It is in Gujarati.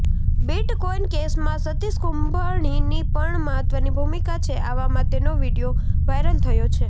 બિટકોઇન કેસમાં સતીષ કુંભણીની પણ મહત્વની ભૂમિકા છે આવામાં તેનો વીડિયો વાઇરલ થયો છે